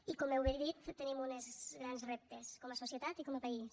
i com bé heu dit tenim uns grans reptes com a societat i com a país